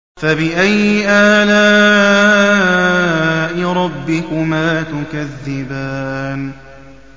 فَبِأَيِّ آلَاءِ رَبِّكُمَا تُكَذِّبَانِ